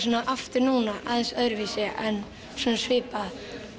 aftur núna aðeins öðruvísi en svipað